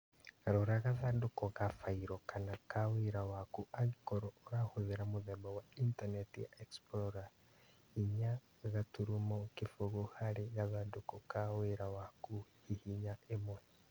Rora gathandũkũ ka failo kana ka wĩra waku angĩkorwo ũrahũthĩra mũthemba wa intanenti ya explorer inya gaturumo kĩfũgũ harĩ gathandũkũ ka wĩra waku, hihinya ĩmwe